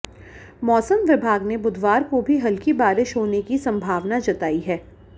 मौसम विभाग ने बुधवार को भी हल्की बारिश होने की संभावना जताई है